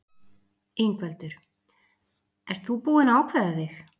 Ingveldur: Ert þú búinn að ákveða þig?